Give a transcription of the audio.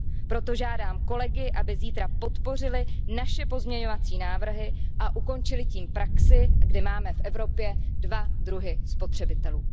Proto žádám kolegy, aby zítra podpořili naše pozměňovací návrhy a ukončili tím praxi, kdy máme v Evropě dva druhy spotřebitelů.